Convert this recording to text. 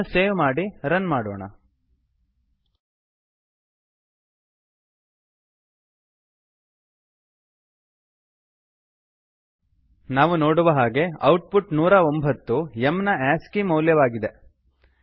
ಇದನ್ನು ಸೇವ್ ಮಾಡಿ ರನ್ ಮಾಡೋಣ ನಾವು ನೋಡುವ ಹಾಗೆ ಔಟ್ ಪುಟ್ 109 ನೂರ ಒಂಭತ್ತು ಇದು m ಎಮ್ ನ ಆಸ್ಕಿ ಆಸ್ಕಿ ಮೌಲ್ಯವಾಗಿದೆ